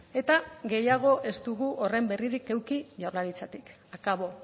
eta gehiago ez dugu horren berririk eduki jaurlaritzatik akabo